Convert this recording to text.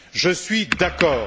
Je suis d'accord.